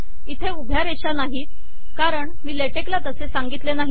इथे उभ्या रेषा नाहीत कारण मी लेटेक्सला तसे सांगितले नाही